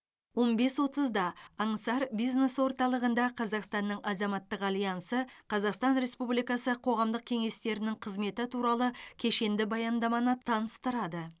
он бес отызда аңсар бизнес орталығында қазақстанның азаматтық альянсы қазақстан республикасы қоғамдық кеңестерінің қызметі туралы кешенді баяндаманы таныстырады